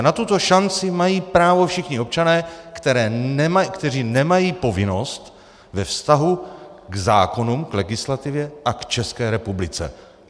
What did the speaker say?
A na tuto šanci mají právo všichni občané, kteří nemají povinnost ve vztahu k zákonům, k legislativě a k České republice.